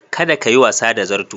Kada kayi wasa da zarto.